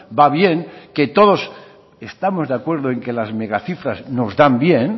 va bien que todos estamos de acuerdo en que las megacifras nos dan bien